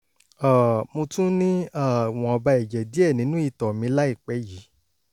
um mo tún ní um ìwọ̀nba ẹ̀jẹ̀ díẹ̀ nínú ìtọ̀ mi láìpẹ́ yìí